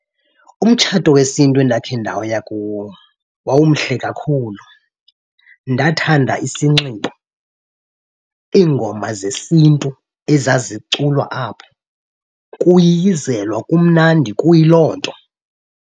Umtshato wesiNtu endakhe ndaya kuwo wawumhle kakhulu. Ndathanda isinxibo, iingoma zesiNtu ezaziculwa apho, kuyiyizelwa kumnandi kuyiloo nto.